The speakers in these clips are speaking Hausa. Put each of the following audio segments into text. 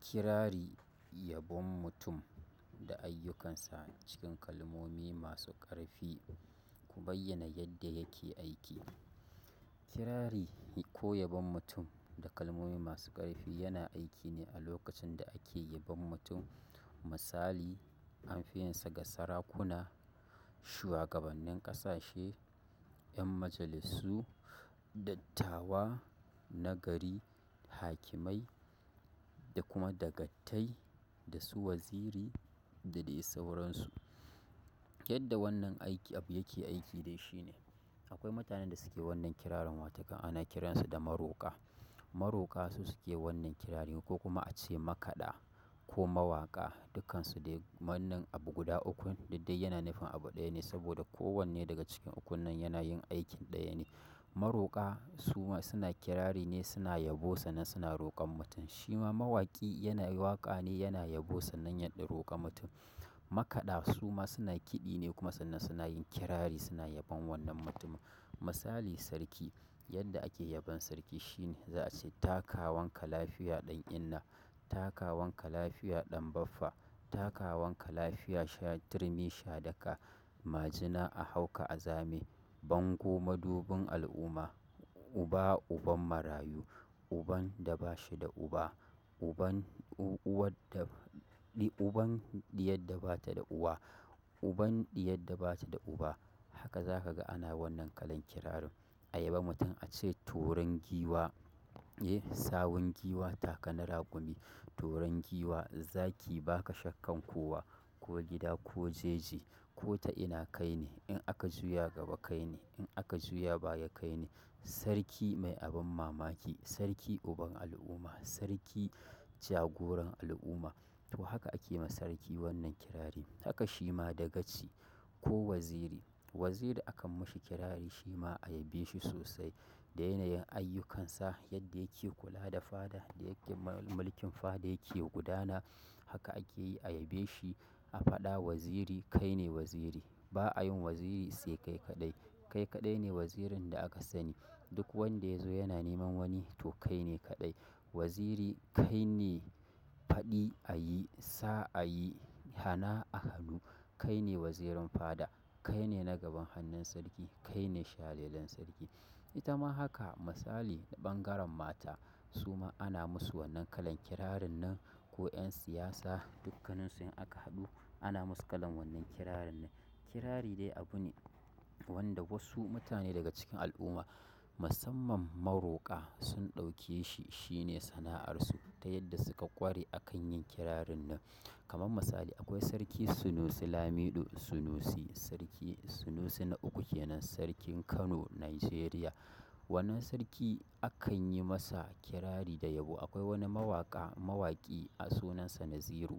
Kirari, yabon mutum da ayyukansa cikin kalmomi masu ƙarfi, ku bayyana yadda yake aiki. Kirari ko yabon mutum da kalmomi masu ƙarfi yana aiki ne a lokacin da ake yabon mutum. Misali, an fi yinsa ga sarakuna, shuwagabannin ƙasashe, 'yan majalisu, dattawa na gari, hakimai da kuma dagatai da su waziri da dai sauransu. Yadda wannan aiki abu yake aiki dai shine. Akwai mutanen da suke wannan kirarin watakan ana kiransu da maroƙa. Maroƙa su suke wannan kirarin ko kuma a ce makaɗa ko mawaƙa, dukkansu dai wannan abu guda ukun da dai yana nufin abu ɗaya ne saboda kowanne daga cikin ukun nan yana yin aikin ɗaya ne. Maroka suma suna kirarine suna yabo sannan suna rokan mutum. Shi ma mawaƙi yana yi waƙa ne yana yabo sannan yaɗ roƙa mutum. Makaɗa su ma suna kiɗi ne kuma sannan suna yin kirari suna yabon wannan mutumin. Misali sarki, yadda ake yabon sarki shine za a ce takawanka lafiya ɗan inna, takawanka lafiya ɗan baffa, takawanka lafiya shadirmi shadaka, majina a hauka a zame, bango madubin al'umma, uba uban marayu, uban da ba shi da uba, uban uwar da uban diyar da ba ta da uwa, uban diyar da ba ta da uba. Haka za ka ga ana wannan kalan kirarin. A yabon mutum a ce toren giwa, eh, sawun giwa taka na rakumi, toren giwa zaki baka shakkan kowa, ko gida ko jeji, ko ta ina kai ne, in aka juya gaba kai ne, in aka juya baya kai ne, sarki mai abin mamaki, sarki uban al'umma, sarki jagoran al'umma. To haka ake ma sarki wannan kirari. Haka shi ma dagaci ko waziri. Waziri akan mashi kirari shi ma a yabeshi sosai da yanayin ayyukansa, yadda yake kula da faɗa, da yadda mulkin faɗa yake gudana. Haka ake yi a yabeshi. A faɗa waziri kai ne waziri. Ba a yin waziri sai kai kaɗai. Kai kaɗai ne wazirin da aka sani. Duk wanda ya zo yana neman wani to kai ne kaɗai. Waziri kai ne faɗi a yi, sa a yi, hana a hanu. Kai ne wazirin faɗa. Kai ne nagaban hannun sarki. Kai ne shalelan sarki. Ita ma haka misali ta ɓangaren mata su ma ana musu wannan kalan kirarin nan ko 'yan siyasa, dukkaninsu in aka haɗu ana musu kalan wannan kirarin nan. Kirari dai abu ne wanda wasu mutane daga cikin al'umma, musamman maroƙa sun ɗauke shi, shi ne sana'arsu ta yadda suka ƙware a kan yin kirarin nan. Kaman misali akwai Sarki Sunusi Lamiɗo Sunusi, Sarki Sunusi na uku kenan, sarkin Kano, Najeriya. Wannan sarki akan yi masa kirari da yabo. Akwai wani mawaƙa, mawaƙi a sunansa Naziru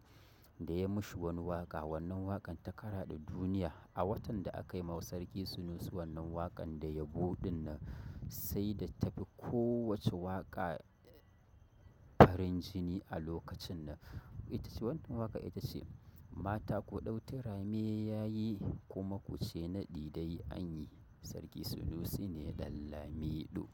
da ya mashi wani waƙa. Wannan waƙan ta karade duniya a watan da aka yi mawa Sarki Sunusi wannan waƙan da yabo ɗin nan sai da ta fi kowace waƙa farin jini a lokacin nan. Itace wannan waƙar itace mata ku ɗau tirame yayi kuma kuce nadi dai anyi sarkin sunusi ne dan lamido.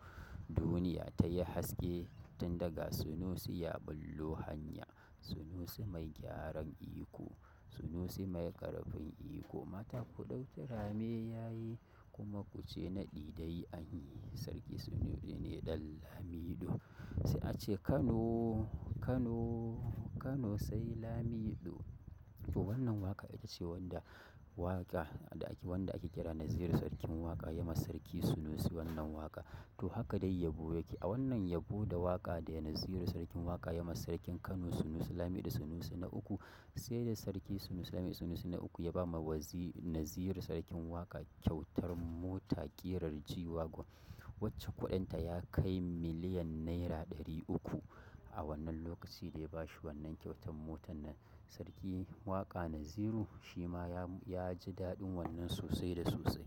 Duniya ta yi haske tun da ga Sunusi ya bullo hanya. Sunusi mai gyaran iko. Sunusi mai ƙarfin iko. Mata ku ɗau tirame ya yi kuma ku ce naɗi dai anyi. Sarki Sunusi ne ɗan Lamiɗo. Sai a ce Kano, Kano, Kano sai Lamiɗo. To wannan waƙa ita ce wanda waƙa da ake wanda ake kira Naziru Sarkin Waƙa ya ma Sarki Sunusi wannan waƙa. To haka dai yabo yake. A wannan yabo da waƙa da Naziru Sarkin Waƙa ya ma Sarkin Kano Sunusi Lamiɗo Sunusi na uku sai da Sarki Sunusi Lamiɗo Sunusi na uku ya ba ma wazi Naziru Sarkin Waƙa kyautar mota ƙirar G-Wagon wacce kuɗinta ya kai miliyan naira ɗari uku a wannan lokacin da ya ba shi wannan kyautar motar nan. Sarki Waƙa Naziru shi ma ya ji daɗin wannan sosai da sosai.